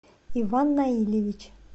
иван наильевич